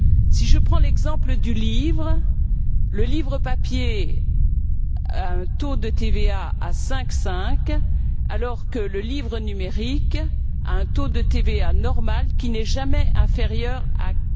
Si je prends l'exemple du livre, le livre papier a un taux de TVA à 5,5, alors que le livre numérique a un taux de TVA normal qui n'est jamais inférieur à